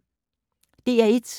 DR1